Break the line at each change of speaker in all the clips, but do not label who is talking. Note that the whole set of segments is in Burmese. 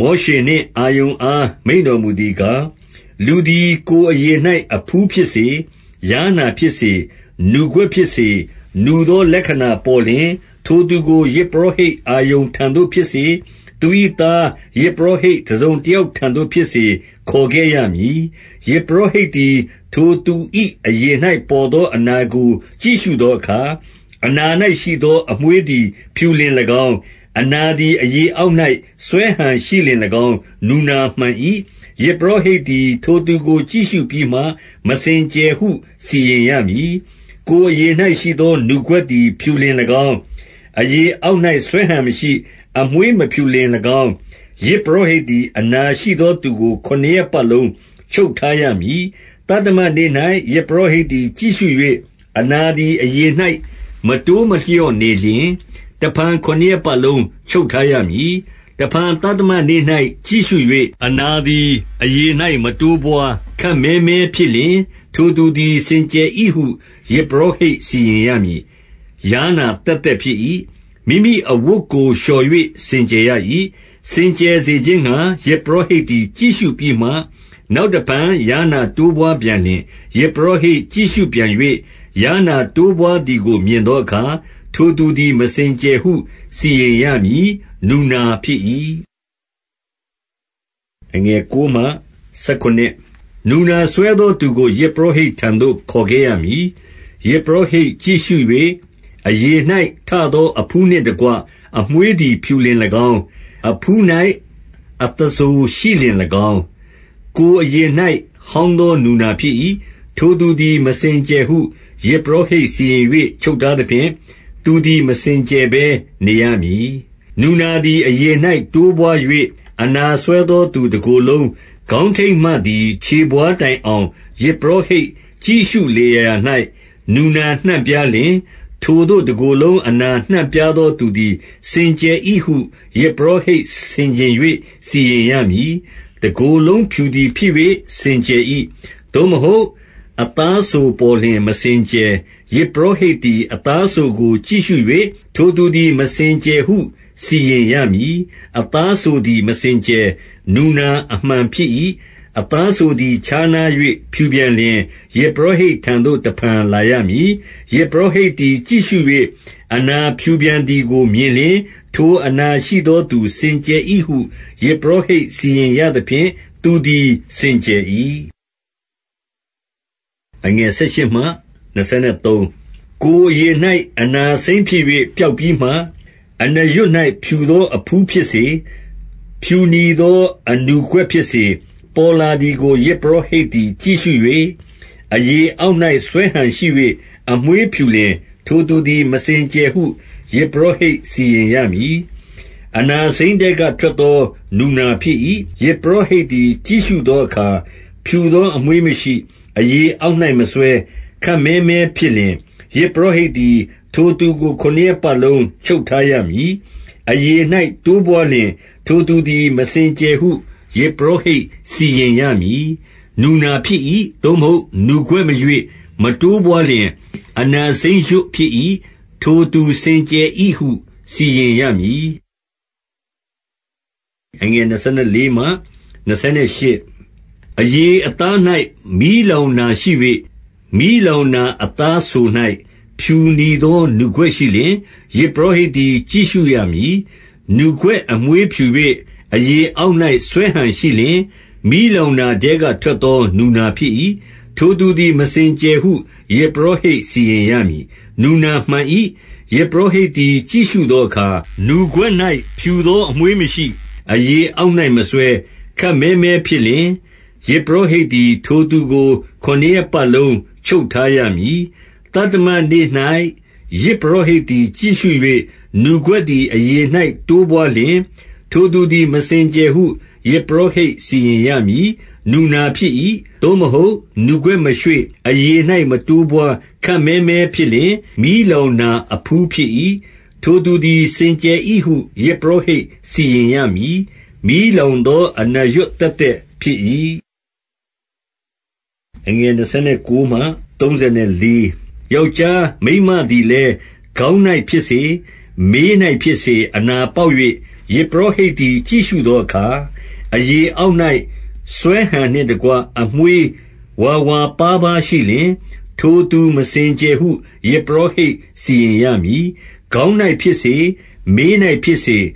မောရှေနှင့် အာရုန်အား မိန့်တော်မူသည်ကား၊ 2 လူသည် ကိုယ်အရေ၌ အဖူးဖြစ်စေ၊ ယားနာဖြစ်စေ၊ နူကွက်ဖြစ်စေ၊ နူသောလက္ခဏာပေါ်လျှင်၊ ထိုသူကို ယဇ်ပုရောဟိတ်အာရုန်ထံသို့ ဖြစ်စေ၊ သူ၏သား ယဇ်ပုရောဟိတ် တစုံတယောက်ထံသို့ ဖြစ်စေ ခေါ်ခဲ့ရမည်။ 3 ယဇ်ပုရောဟိတ်သည်၊ ထိုသူ၏ အရေ၌ ပေါ်သော အနာကို ကြည့်ရှုသောအခါ၊ အနာ၌ရှိသော အမွေးသည် ဖြူလျှင်၎င်း၊ အနာသည် အရေအောက်၌ စွဲဟန်ရှိလျှင်၎င်း နူနာမှန်၏။ ယဇ်ပုရောဟိတ်သည် ထိုသူကို ကြည့်ရှုပြီးမှ၊ မစင်ကြယ်ဟု စီရင်ရမည်။ 4 ကိုယ်အရေ၌ရှိသော နူကွက်သည် ဖြူလျှင်၎င်း၊ အရေအောက်၌ စွဲဟန်မရှိ၊ အမွေးမဖြူလျှင်၎င်း၊ ယဇ် ပုရောဟိတ်သည်၊ အနာရှိသောသူကို ခုနစ်ရက် ပတ်လုံး ချုပ်ထားရမည်။ 5 သတ္တမနေ့၌ ယဇ်ပုရောဟိတ်သည် ကြည့်ရှု၍၊ အနာသည် အရေ၌ မတိုးမလျော့နေလျှင်၊ တဖန် ခုနစ်ရက်ပတ်လုံး ချုပ်ထားရမည်။ 6 တဖန် သတ္တမနေ့၌ ကြည့်ရှု၍ အနာသည် အရေ၌ မတိုးပွား၊ ခပ်မည်းမည်းဖြစ်လျှင်၊ ထိုသူသည် စင်ကြယ်၏ဟု ယဇ်ပုရောဟိတ်စီရင်ရမည်။ ယားနာသက်သက် ဖြစ်၏။ မိမိအဝတ်ကို လျှော်၍ စင်ကြယ်ရ၏။ 7 စင်ကြယ်စေခြင်းငှါ ယဇ်ပုရောဟိတ်သည် ကြည့်ရှုပြီးမှ၊ နောက်တဖန် ယားနာတိုးပွားပြန်လျှင်၊ ယဇ် ပုရောဟိတ်ကြည့်ရှုပြန်၍၊- 8 ယားနာ တိုးပွားသည်ကိုမြင်သောအခါ၊ ထိုသူသည် မစင်ကြယ်ဟု စီရင်ရမည်။ နူနာဖြစ်၏။ 9 နူနာစွဲသောသူကို ယဇ်ပုရောဟိတ်ထံသို့ ခေါ်ခဲ့ရမည်။ 10 ယဇ်ပုရောဟိတ်ကြည့်ရှု၍၊ အရေ၌ထသော အဖူးနှင့်တကွ အမွေးသည် ဖြူလျှင်၎င်း၊ အဖူး၌ အသားစိုရှိလျှင်၎င်း၊- 11 ကိုယ်အရေ၌ ဟောင်းသော နူနာဖြစ်၏။ ထိုသူသည် မစင်ကြယ်ဟု ယဇ်ပုရောဟိတ် စီရင်၍ ချုပ်ထားသဖြင့်၊ သူသည် မစင်ကြယ်ဘဲနေရမည်။ 12 နူနာသည် အရေ၌ တိုးပွား၍ အနာစွဲသော သူတကိုယ်လုံး၊ ခေါင်းထိပ်မှသည် ခြေဘဝါးတိုင်အောင်၊ ယဇ်ပုရောဟိတ်ကြည့်ရှု လေရာရာ၌ နူနာနှံ့ပြားလျှင်၊ - 13 ထိုသို့ တကိုယ်လုံး အနာနှံ့ပြားသောသူသည် စင်ကြယ်၏ဟု ယဇ်ပုရောဟိတ် ဆင်ခြင်၍ စီရင်ရမည်။ တကိုယ်လုံးဖြူသည်ဖြစ်၍ စင်ကြယ်၏။- 14 သို့မဟုတ် အသားစိုပေါ်လျှင် မစင်ကြယ်။ 15 ယဇ်ပုရောဟိတ်သည် အသားစိုကို ကြည့်ရှု၍ ထိုသူသည် မစင်ကြယ်ဟု စီရင်ရမည်။ အသားစိုသည် မစင်ကြယ်။ နူနာအမှန်ဖြစ်၏။ 16 အသားစိုသည် ခြားနား၍ ဖြူပြန်လျှင်၊ ယဇ်ပုရောဟိတ်ထံသို့ တဖန်လာရမည်။ 17 ယဇ်ပုရောဟိတ်သည် ကြည့်ရှု၍၊ အနာဖြူပြန်သည်ကိုမြင်လျှင်၊ ထိုအနာရှိသောသူ စင်ကြယ်၏ဟု ယဇ်ပုရောဟိတ် စီရင်ရသဖြင့် သူသည် စင်ကြယ်၏။ 18 ကိုယ်အရေ၌ အနာစိမ်းဖြစ်၍ ပျောက်ပြီးမှ၊- 19 အနာရွတ်၌ ဖြူသောအဖူးဖြစ်စေ၊ ဖြူနီသော အနူကွက်ဖြစ်စေ၊ ပေါ်လာသည်ကို ယဇ်ပုရောဟိတ်သည် ကြည့်ရှု၍၊ 20 အရေအောက်၌ စွဲဟန်ရှိ၍ အမွေးဖြူလျှင်၊ ထိုသူသည် မစင်ကြယ်ဟု ယဇ်ပုရောဟိတ် စီရင်ရမည်။ အနာစိမ်းထဲက ထွက်သော နူနာဖြစ်၏။- 21 ယဇ်ပုရောဟိတ်သည် ကြည့်ရှုသောအခါ၊ ဖြူသောအမွေးမရှိ၊ အရေအောက်၌ မစွဲ၊ ခပ်မည်းမည်း ဖြစ်လျှင်၊ ယဇ်ပုရောဟိတ်သည် ထိုသူကို ခုနစ်ရက်ပတ်လုံး ချုပ်ထားရမည်။ 22 အရေ၌ တိုးပွားလျှင်၊ ထိုသူသည် မစင်ကြယ်ဟု ယဇ်ပုရောဟိတ် စီရင်ရမည်။ နူနာဖြစ်၏။ 23 သို့မဟုတ် နူကွက်မရွေ့၊ မတိုးပွားလျှင် အနာစိမ်းရွတ်ဖြစ်၏။ ထိုသူစင်ကြယ်၏ဟု စီရင်ရမည်။ 24 အရေအသား၌ မီးလောင်နာရှိ၍၊ မီးလောင်နာ အသားစို၌ ဖြူနီသော နူကွက်ရှိလျှင်၊- 25 ယဇ်ပုရောဟိတ်သည် ကြည့်ရှုရမည်။ နူကွက်အမွေးဖြူ၍ အရေအောက်၌ စွဲဟန်ရှိလျှင်၊ မီးလောင်နာ ထဲကထွက်သော နူနာဖြစ်၏။ ထိုသူသည် မစင်ကြယ်ဟု ယဇ်ပုရောဟိတ် စီရင်ရမည်။ နူနာမှန်၏။ 26 ယဇ်ပုရောဟိတ်သည် ကြည့်ရှုသောအခါ၊ နူကွက်၌ဖြူသော အမွေးမရှိ၊ အရေအောက်၌မစွဲ၊ ခပ်မည်းမည်းဖြစ်လျှင်၊ ယဇ်ပုရောဟိတ်သည် ထိုသူကို ခုနစ်ရက်ပတ်လုံး ချုပ်ထားရမည်။ 27 သတ္တမနေ့၌ ယဇ်ပုရောဟိတ်သည် ကြည့်ရှု၍ နူကွက်သည် အရေ၌ တိုးပွားလျှင်၊ ထိုသူသည် မစင်ကြယ်ဟု ယဇ်ပုရောဟိတ် စီရင်ရမည်။ နူနာဖြစ်၏။ 28 သို့မဟုတ် နူကွက်မရွေ့ အရေ၌မတိုးပွား ခပ်မည်းမည်းဖြစ်လျှင်၊ မီလောင်နာ အဖူးဖြစ်၏။ ထိုသူသည် စင်ကြယ်၏ဟု ယဇ်ပုရောဟိတ် စီရင်ရမည်။ မီးလောင်သော အနာရွတ်သက်သက်ဖြစ်၏။ 29 ယောက်ျားမိန်းမသည်လည်း၊ ခေါင်း၌ဖြစ်စေ၊ မေး၌ဖြစ်စေ၊ အနာပေါက်၍၊- 30 ယဇ်ပုရောဟိတ်သည် ကြည့်ရှုသောအခါ၊ အရေအောက်၌ စွဲဟန်နှင့်တကွ အမွေးဝါဝါပါးပါးရှိလျှင်၊ ထိုသူ မစင်ကြယ်ဟု ယဇ်ပုရောဟိတ် စီရင်ရမည်။ ခေါင်း၌ဖြစ်စေ၊ မေး၌ဖြစ်စေ၊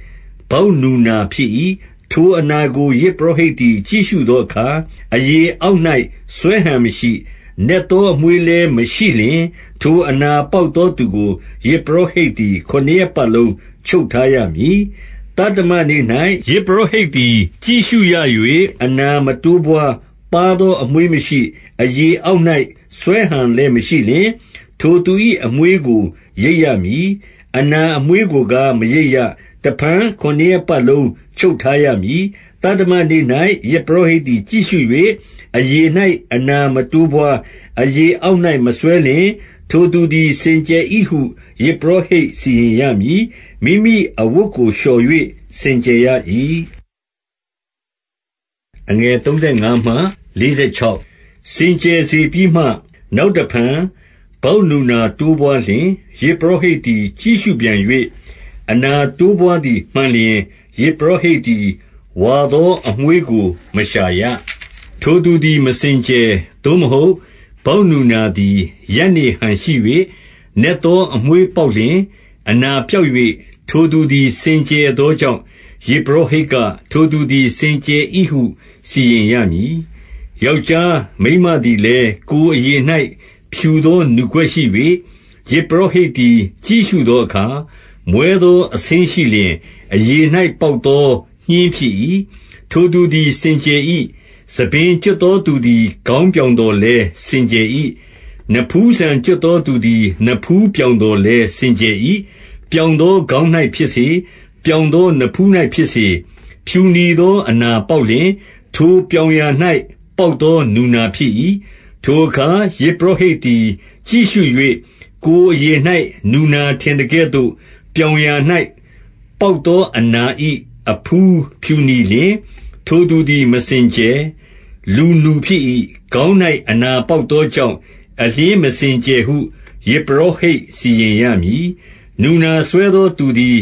ဗောက်နူနာဖြစ်၏။ 31 ထိုအနာကို ယဇ်ပုရောဟိတ်သည် ကြည့်ရှုသောအခါ၊ အရေအောက်၌ စွဲဟန်မရှိ၊ နက်သော အမွေး လည်းမရှိလျှင်၊ ထိုအနာပေါက်သောသူကို၊ ယဇ်ပုရောဟတ်သည် ခုနစ်ရက်ပတ်လုံး ချုပ်ထားရမည်။ 32 သတ္တမနေ့၌ ယဇ်ပုရောဟိတ်သည် ကြည့်ရှု၍ အနာမတိုးပွား၊ ပါးသောအမွှေးမရှိ၊ အရေအောက်၌ စွဲဟန်လည်းမရှိလျှင်၊- 33 ထိုသူ၏ အမွေးကို ရိတ်ရမည်။ အနာအမွေးကိုကား မရိတ်ရ။ တဖန် ခုနစ်ရက်ပတ်လုံး ချုပ်ထားရမည်။ 34 သတ္တမနေ့၌ ယဇ်ပုရောဟိတ်သည် ကြည့်ရှု၍ အရေ၌ အနာမတိုးပွါး၊ အရေအောက်၌ မစွဲလျှင်၊ ထိုသူသည် စင်ကြယ်၏ဟု ယဇ်ပုရောဟိတ် စီရင်ရမည်။ မိမိအဝတ်ကို လျှော်၍ စင်ကြယ်ရ၏။ 35 စင်ကြယ်စေပြီးမှ၊ နောက်တဖန် ဗောက်နူနာတိုးပွါးလျှင်၊- 36 ယဇ်ပုရောဟိတ်သည် ကြည့်ရှုပြန်၍ အနာတိုးပွါးသည်မှန်လျှင်၊ ယဇ်ပုရောဟိတ်သည် ဝါသောအမွေး ကို မရှာရ။ ထိုသူသည် မစင်ကြယ်။ 37 သို့မဟုတ် ဗောက်နူနာသည် ရပ်နေဟန်ရှိ၍ နက်သော အမွေးပေါက်လျှင်၊ အနာပျောက်၍ ထိုသူသည် စင်ကြယ်သောကြောင့်၊ ယဇ်ပုရောဟိတ်က ထိုသူသည် စင်ကြယ်၏ဟု စီရင်ရမည်။ 38 ယောက်ျားမိန်းမသည်လည်း၊ ကိုယ်အရေ၌ ဖြူသောနူကွက်ရှိ၍၊- 39 ယဇ်ပုရောဟိတ်သည် ကြည့်ရှုသောအခါ မွဲသောအဆင်းရှိလျှင်၊ အရေ၌ပေါက်သော ညှင်းဖြစ်၏။ ထိုသူသည် စင်ကြယ်၏။ 40 ဆံပင်ကျွတ်သောသူသည်၊ ခေါင်းပြောင်သော်လည်း စင်ကြယ်၏။ 41 နဖူးဆံကျွတ်သောသူသည် နဖူးပြောင်သော်လည်း စင်ကြယ်၏။ 42 ပြောင်သောခေါင်း၌ဖြစ်စေ၊ ပြောင်သောနဖူး၌ဖြစ်စေ၊ ဖြူနီသောအနာပေါက်လျှင်၊ ထိုပြောင်ရာ၌ ပေါက်သော နူနာဖြစ်၏။ 43 ထိုအခါ ယဇ်ပုရောဟိတ်သည် ကြည့်ရှု၍၊ ကိုယ်အရေ၌ နူနာထင်သကဲ့သို့၊ ပြောင်ရာ၌ ပေါက်သော အနာ၏အဖူးဖြူနီလျှင်၊- 44 ထိုသူသည် မစင်ကြယ်။ လူနူဖြစ်၏။ ခေါင်း၌ အနာပေါက်သောကြောင့်၊ အလျှင်းမစင်ကြယ်ဟု ယဇ်ပုရောဟိတ် စီရင်ရမည်။ 45 နူနာစွဲသောသူသည်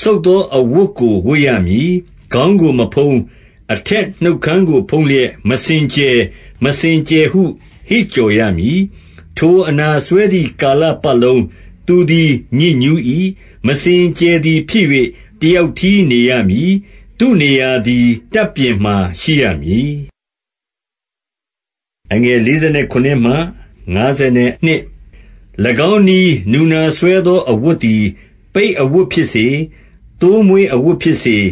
စုတ်သော အဝတ်ကို ဝတ်ရမည်။ ခေါင်းကို မဖုံး၊ အထက်နှုတ်ခမ်းကို ဖုံးလျက်၊ မစင်ကြယ်၊ မစင်ကြယ်ဟု ဟစ်ကြော်ရမည်။ 46 ထိုအနာစွဲသည် ကာလပတ်လုံး၊ သူသည် ညစ်ညူး၏ မစင်ကြယ်သည်ဖြစ်၍ တယောက်တည်း နေရမည်။ သူ့နေရာသည် တပ်ပြင်မှာ ရှိရမည်။ 47 ၎င်းနည်းနူနာစွဲသော အဝတ်သည်၊ ပိတ်အဝတ်ဖြစ်စေ၊ သိုးမွေးအဝတ်ဖြစ်စေ၊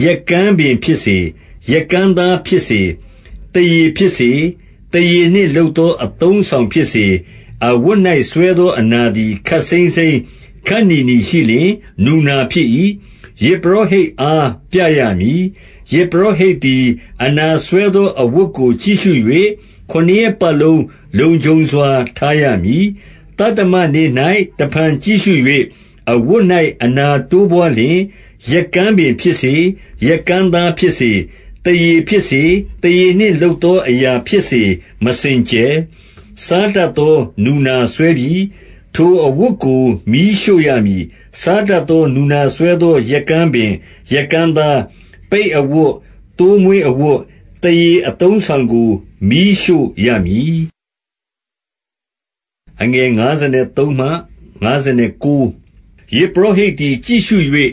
- 48 ရက်ကန်းပင်ဖြစ်စေ၊ ရက်ကန်းသားဖြစ်စေ၊ သားရေဖြစ်စေ၊ သားရေနှင့်လုပ်သော အသုံးအဆောင် ဖြစ်စေ၊- 49 အဝတ်၌ စွဲသောအနာသည် ခပ်စိမ်းစိမ်း၊ ခပ်နီနီရှိလျှင်၊ နူနာဖြစ်၏။ ယဇ်ပုရောဟိတ်အား ပြရမည်။ 50 ယဇ်ပုရောဟိတ်သည် အနာစွဲသော အဝတ်ကို ကြည့်ရှု၍ ခုနစ်ရက်ပတ်လုံး လုံခြုံစွာ ထားရမည်။ 51 သတ္တမနေ့၌ တဖန်ကြည့်ရှု၍ အဝတ်၌ အနာတိုးပွါးလျှင်၊ ရက်ကန်းပင်ဖြစ်စေ၊ ရက်ကန်းသားဖြစ်စေ၊ သားရေဖြစ်စေ၊ သားရေနှင့် လုပ်သောအရာဖြစ်စေ၊ မစင်ကြယ်။ စားတတ်သော နူနာစွဲပြီ။ 52 ထိုအဝတ်ကို မီးရှို့ရမည်။ စားတတ်သော နူနာစွဲသော ရက်ကန်းပင်၊ ရက်ကန်းသား၊ ပိတ်အဝတ်၊ သိုးမွေးအဝတ်၊ သားရေအသုံးအဆောင်ကို မီးရှို့ရမည်။ 53 ယဇ်ပုရောဟိတ်သည် ကြည့်ရှု၍၊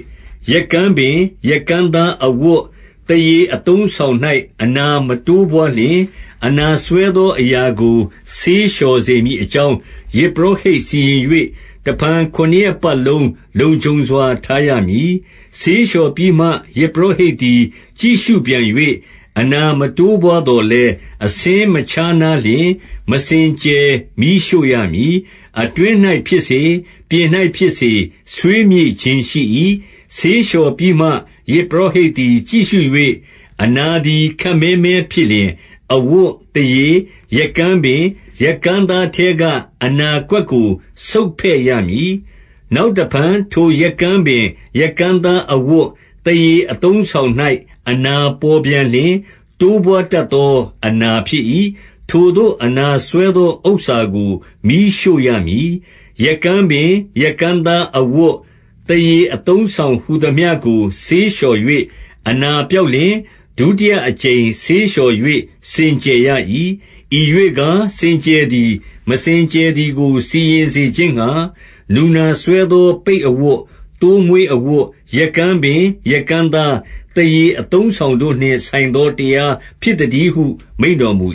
ရက်ကန်းပင်၊ ရက်ကန်းသားအဝတ်၊ သားရေအသုံးအဆောင်၌ အနာမတိုးပွါးလျှင်၊- 54 အနာစွဲသောအရာကို ဆေးလျော်စေမည်အကြောင်း၊ ယဇ်ပုရောဟိတ် စီရင်၍ တဖန် ခုနစ်ရက်ပတ် လုံး လုံခြုံစွာ ထားရမည်။ 55 ဆေးလျှော် ပြီးမှ ယဇ်ပုရောဟိတ်သည် ကြည့်ရှုပြန်၍၊ အနာမတိုးပွါးသော်လည်း၊ အဆင်းမခြားနားလျှင်၊ မစင်ကြယ်။ မီးရှို့ရမည်။ အတွင်း၌ဖြစ်စေ၊ ပြင်၌ဖြစ်စေ၊ ဆွေးမြေ့ခြင်းရှိ၏။ 56 ဆေးလျှော်ပြီးမှ၊ ယဇ်ပုရောဟိတ်သည် ကြည့်ရှု၍ အနာသည် ခပ်မည်းမည်းဖြစ်လျှင်၊ အဝတ်၊ သားရေ၊ ရက်ကန်းပင်၊ ရက်ကန်းသားထဲက အနာကွက်ကို ဆုတ်ဖဲ့ရမည်။ 57 နောက်တဖန် ထိုရက်ကန်းပင်၊ ရက်ကန်းသားအဝတ်၊ သားရေအသုံးအဆောင်၌ အနာပေါ်ပြန်လျှင်၊ တိုးပွားတတ်သောအနာ ဖြစ်၏။ ထိုသို့အနာစွဲသောဥစ္စာကို မီးရှို့ရမည်။ 58 ရက်ကန်းပင်၊ ရက်ကန်းသားအဝတ်၊ သားရေအသုံးအဆောင်ဟူသမျှကို ဆေးလျှော်၍ အနာပျောက် လျှင်၊ ဒုတိယအကြိမ် ဆေးလျှော်၍ စင်ကြယ်ရ၏။ 59 ဤရွေ့ကား စင်ကြယ်သည်၊ မစင်ကြယ်သည်ကို စီရင်စေခြင်းငှါ နူနာစွဲသော ပိတ်အဝတ်၊ သိုးမွေးအဝတ်၊ ရက်ကန်းပင်၊ ရက်ကန်းသား၊ သားရေအသုံးအဆောင်တို့နှင့်ဆိုင်သောတရား ဖြစ်သတည်းဟု မိန့်တော်မူ